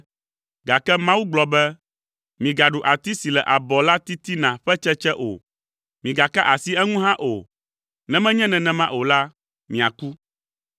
gake Mawu gblɔ be, ‘Migaɖu ati si le abɔ la titina ƒe tsetse o, migaka asi eŋu hã o, ne menye nenema o la, miaku.’ ”